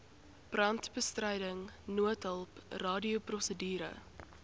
brandbestryding noodhulp radioprosedure